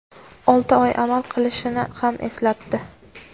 olti oy amal qilishini ham eslatdi.